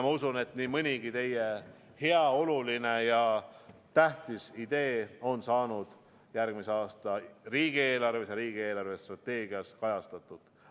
Ma usun, et nii mõnigi teie hea, oluline ja tähtis idee on saanud järgmise aasta riigieelarves ja riigi eelarvestrateegias kajastatud.